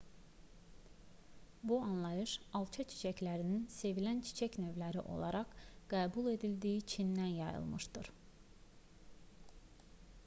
bu anlayış alça çiçəklərinin sevilən çiçək növləri olaraq qəbul edildiyi çindən yayılmışdır